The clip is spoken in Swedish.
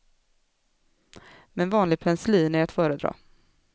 Men vanlig penicillin är att föredra.